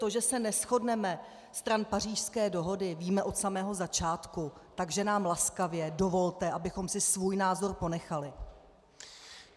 To, že se neshodneme stran Pařížské dohody, víme od samého začátku, takže nám laskavě dovolte, abychom si svůj názor ponechali.